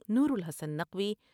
Noorul Hassan Naqvi